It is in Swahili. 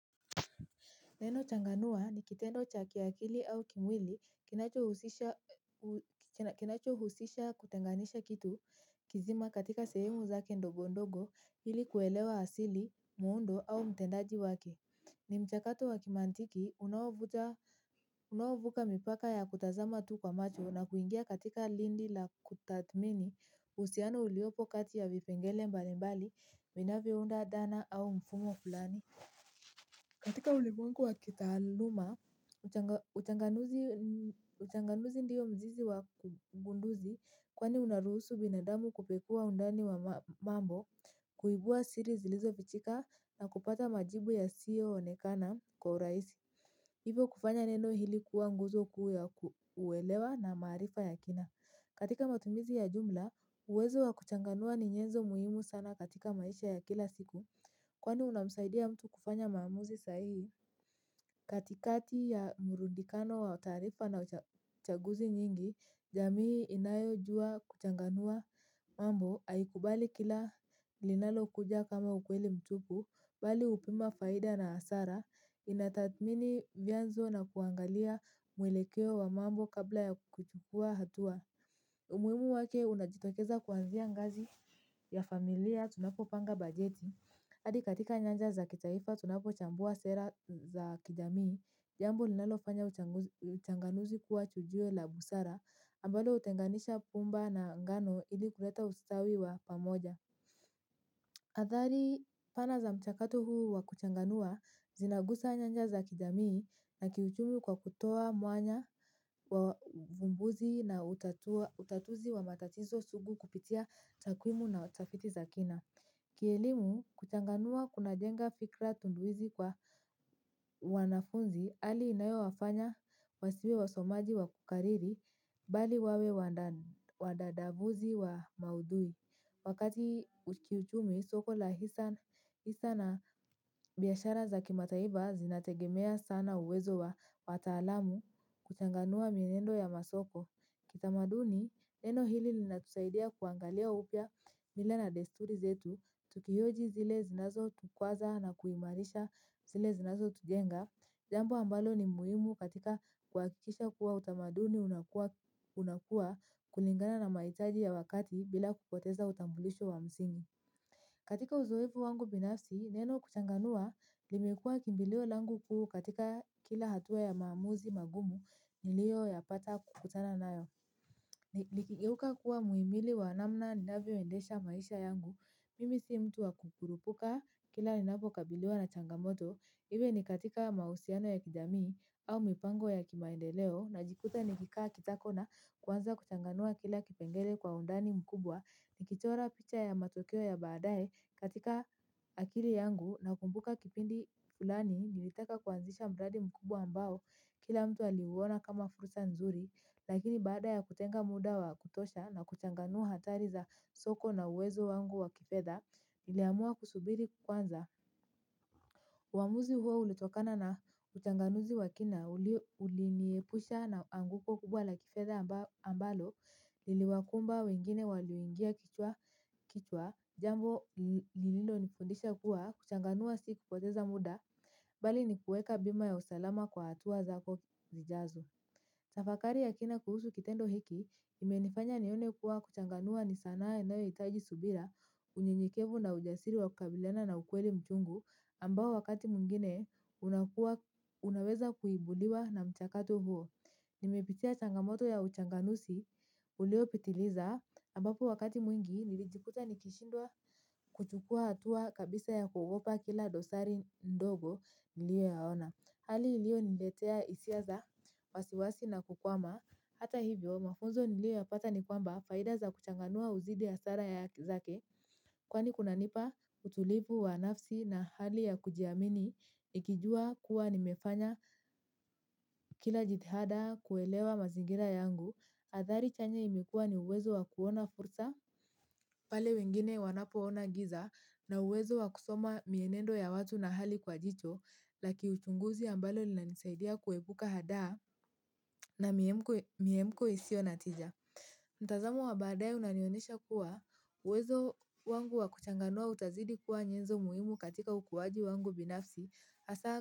Neno changanua ni kitendo cha kiakili au kimwili kinachohusisha kinacho husisha kutenganisha kitu kizima katika sehemu zake ndogo ndogo ili kuelewa asili, muundo au mtendaji wake. Ni mchakato wa kimantiki unaouvuka mipaka ya kutazama tu kwa macho na kuingia katika lindi la kutathmini uhusiano uliopo kati ya vipengele mbalimbali vinavyo unda dhana au mfumo fulani. Katika ulimwengu wa kitaaluma, uchanganuzi ndiyo mzizi wa ugunduzi kwani unaruhusu binadamu kupekuwa undani wa mambo, kuibua siri zilizo fichika na kupata majibu yasiyoonekana kwa urahisi. Ivo kufanya neno hili kuwa nguzo kuu ya kuelewa na maarifa ya kina. Katika matumizi ya jumla, uwezo wa kuchanganua ni nyenzo muhimu sana katika maisha ya kila siku. Kwani unamsaidia mtu kufanya maamuzi sahihi. Katikati ya mrundikano wa taarifa na uchaguzi nyingi jamii inayojua kuchanganua mambo aikubali kila linalo kuja kama ukweli mtupu. Bali hupima faida na hasara. Inatathmini vyanzo na kuangalia muelekeo wa mambo kabla ya kuchukua hatua. Umuhimu wake unajitokeza kuanzia ngazi ya familia. Tunapopanga bajeti adi katika nyanja za kitaifa tunapochambua sera za kijamii jambo linalo fanya uchanganuzi kuwa chujio la busara ambalo hutenganisha pumba na ngano ili kuleta ustawi wa pamoja. Adhari pana za mchakato huu wa kuchanganua zinagusa nyanja za kijamii na kiuchumi kwa kutoa mwanya wa uvmbuzi na utatuzi wa matatizo sugu kupitia takwimu na utafiti za kina. Kielimu kuchanganua kuna jenga fikra tunduizi kwa wanafunzi hali inayo wafanya wasiwe wasomaji wa kukariri bali wawe wadadabuzi wa maudhui. Wakati kiuchumi soko la hisa na biashara za kimataifa zinategemea sana uwezo wa waatalamu kuchanganua mienendo ya masoko. Kitamaduni, eneo hili linatusaidia kuangalia upya mila na desturi zetu, tukihoji zile zinazo tukwaza na kuimarisha zile zinazo tujenga, jambo ambalo ni muhimu katika kuhakikisha kuwa utamaduni unakuwa unakua kulingana na mahitaji ya wakati bila kupoteza utambulisho wa msingi. Katika uzoefu wangu binafsi, neno kuchanganua, limekua kimbilio langu kuu katika kila hatua ya maamuzi magumu nilio yapata kukutana nayo. Likigeuka kuwa muimili wa namna ninavyo endesha maisha yangu. Mimi si mtu wa kukurupuka kila ni napo kabiliwa na changamoto, iwe ni katika mahusiano ya kijamii au mipango ya kimaendeleo najikuta ni kikaa kitako na kwanza kuchanganua kila kipengele kwa undani mkubwa ni kichora picha ya matokeo ya baadae katika akili yangu nakumbuka kipindi fulani nilitaka kuanzisha mradi mkubwa ambao kila mtu aliuona kama fursa nzuri. Lakini baada ya kutenga muda wa kutosha na kuchanganua hatari za soko na uwezo wangu wa kifedha, niliamua kusubiri kwanza. Uamuzi huo ulitokana na uchanganuzi wakina uliniepusha na anguko kubwa la kifedha ambalo, liliwakumba wengine walio ingia kichwa, jambo lililo nifondisha kuwa, kuchanganua si kupoteza muda, bali nikuweka bima ya usalama kwa hatuwa zako zijazo tafakari ya kina kuhusu kitendo hiki kimenifanya nione kuwa kuchanganua ni sanaa inayohitaji subira unyenyekevu na ujasiri wa kukabiliana na ukweli mchungu ambao wakati mwingine unaweza kuibudiwa na mchakato huo. Nimepitia changamoto ya uchanganuzi ulio pitiliza ambapo wakati mwingi nilijikuta nikishindwa kuchukua hatua kabisa ya kugopa kila dosari ndogo niliyo yaona. Hali ilio niletea hisia za, wasiwasi na kukwama. Hata hivyo, mafunzo nilio ya pata ni kwamba faida za kuchanganua uzidi ya hasara zake. Kwani kuna nipa utulivu wa nafsi na hali ya kujiamini, ikijua kuwa nimefanya kila jithada kuelewa mazingira yangu. Athari chanya imikuwa ni uwezo wa kuona fursa, pale wengine wanapo ona giza na uwezo wa kusoma mienendo ya watu na hali kwa jicho. La kiuchunguzi ambalo linayonisaidia kuepuka hada na miemko usiyo na tija mtazamo wa baadae unanionyesha kuwa uwezo wangu wa kuchanganua utazidi kuwa nyenzo muhimu katika ukuwaji wangu binafsi.